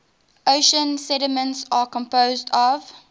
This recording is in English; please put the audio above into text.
ocean sediments are composed of